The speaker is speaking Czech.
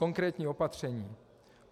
Konkrétní opatření.